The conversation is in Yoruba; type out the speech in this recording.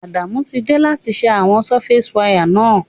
Adamu ti de láti se àwon surface wire náà